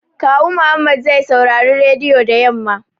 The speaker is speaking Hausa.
Kawu Muhammad zai saurari rediyo da yamma